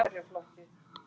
En í vikunni gerðist það.